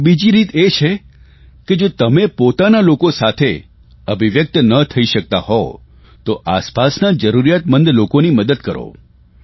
એક બીજી રીત એ છે કે જો તમે પોતાના લોકો સાથે અભિવ્યકત ન થઇ શકતા હોવ તો આસપાસના જરૂરિયાતમંદ લોકોની મદદ કરો